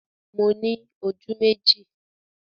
Mo ní ojú méjì